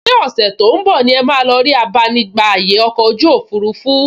Ṣé ọ̀sẹ̀ tó ún bọ̀ ni ẹ máa lọ rí abánigbàyè ọkọ̀ ojú òfurufú??